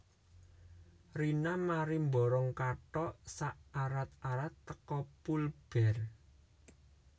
Rina mari mborong kathok sak arat arat teko Pull Bear